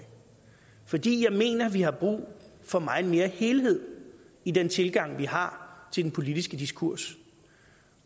fordi jeg mener vi har brug for meget mere helhed i den tilgang vi har til den politiske diskurs